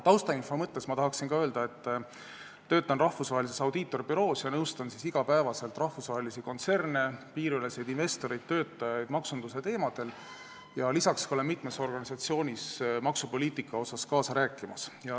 Taustainfo mõttes tahan öelda, et töötan rahvusvahelises audiitorbüroos ja nõustan iga päev rahvusvahelisi kontserne, piiriüleseid investoreid ja töötajaid maksunduse teemadel, lisaks olen ka mitmes organisatsioonis maksupoliitika asjus kaasa rääkimas.